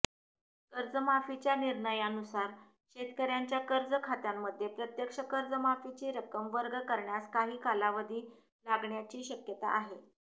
कर्जमाफीच्या निर्णयानुसार शेतकऱ्यांच्या कर्जखात्यांमध्ये प्रत्यक्ष कर्जमाफीची रक्कम वर्ग करण्यास काही कालावधी लागण्याची शक्यता आहे